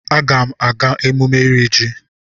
Agam aga emume iri ji.